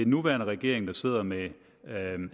nuværende regering der sidder med